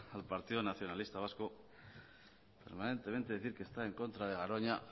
al partido nacionalista vasco permanentemente decir que está en contra de garoña